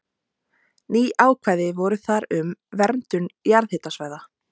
Ný ákvæði voru þar um verndun jarðhitasvæða.